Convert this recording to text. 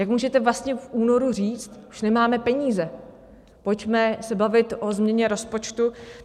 Jak můžete vlastně v únoru říct, že nemáme peníze, pojďme se bavit o změně rozpočtu?